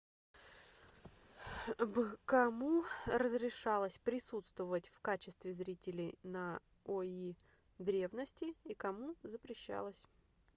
б кому разрешалось присутствовать в качестве зрителей на ои древности и кому запрещалось